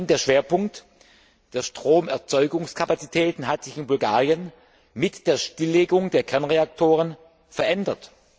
Der Schwerpunkt der Stromerzeugungskapazitäten hat sich in Bulgarien mit der Stilllegung der Kernreaktoren verändert.